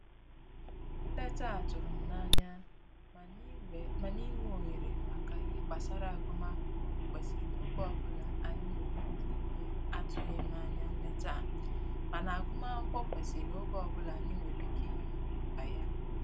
Nleta a tụrụ m n'anya, mana inwe ohere maka ihe gbasara agụmakwụkwọ kwesịrị oge ọbụla anyi nwere ike nyeAtụghim anya nleta a, mana agụmakwukwọ kwesiri oge ọbụla anyị nwere ike inye maka ya